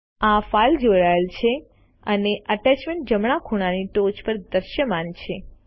આ ફાઇલ જોડાયેલ છે અને એટેચમેન્ટ જમણા ખૂણાની ટોચ પર દ્રશ્યમાન થાય છે